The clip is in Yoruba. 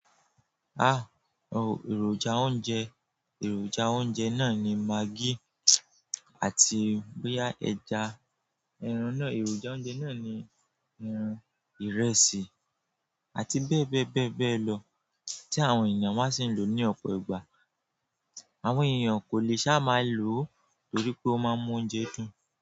Ah! Èròjà oúnjẹ, èròjà oúnjẹ náà ni maggi àti boya ẹja, eran náà, èròjà oúnjẹ náà ni eran ìrẹsì àti bẹ́ẹ̀ bẹ́ẹ̀ bẹ́ẹ̀ bẹ́ẹ̀ lọ tí àwọn ènìyàn máa ṣì ń lò ní ọ̀pọ̀ ìgbà. Àwọn ènìyàn kò lè ṣá máa lò ó torí pé ó máa ń mú oúnjẹ dùn.